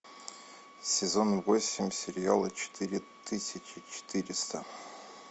сезон восемь сериала четыре тысячи четыреста